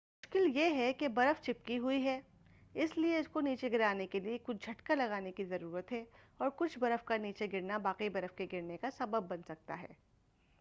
مشکل یہ ہے کہ برف چپکی ہوئی ہے اس لیے اس کو نیچے گرانے کے لئے کچھ جھٹکا لگانے کی ضرورت ہے اور کچھ برف کا نیچے گرنا باقی برف کے گرنے کا سبب بن سکتا ہے